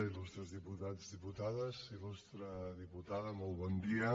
il·lustres diputats diputades il·lustre diputada molt bon dia